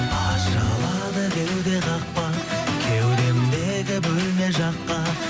ашылады кеуде қақпа кеудемдегі бөлме жаққа